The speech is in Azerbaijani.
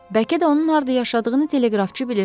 Bəlkə də onun harda yaşadığını teleqrafçı bilir.